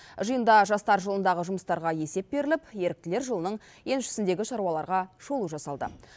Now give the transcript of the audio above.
жиында жастар жылындағы жұмыстарға есеп беріліп еріктілер жылының еншісіндегі шаруаларға шолу жасалды